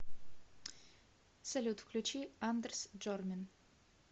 салют включи андерс джормин